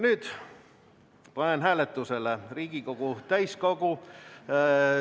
Nüüd panen hääletusele Riigikogu täiskogu ...